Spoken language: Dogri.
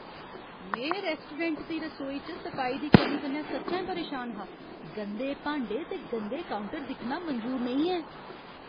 में रैस्टोरैंट दी रसोई च सफाई दी कमी कन्नै सच्चैं परेशान हा। गंदे भांडे ते गंदे काउंटर दिक्खना मंजूर नेईं ऐ।